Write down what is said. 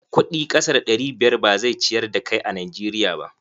Kuɗi kasa da ɗari biyar ba zai ciyar da kai a Najeriya ba.